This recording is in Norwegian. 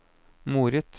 moret